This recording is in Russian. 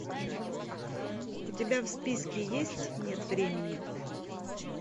у тебя в списке есть нет времени